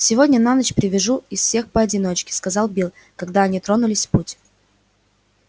сегодня на ночь привяжу из всех поодиночке сказал билл когда они тронулись в путь